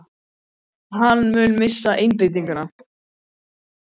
Mun hann missa einbeitinguna?